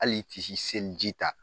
Hali ti si seliji ta.